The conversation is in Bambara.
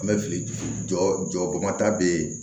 An bɛ fili jɔ jɔmada be yen